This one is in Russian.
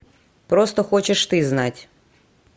просто хочешь ты знать